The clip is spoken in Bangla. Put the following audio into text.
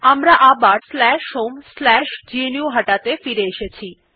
আমার আবার homegnuhata ত়ে ফিরে এসেছি